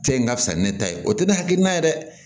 Cɛ in ka fisa ni ne ta ye o tɛ ne hakilina ye dɛ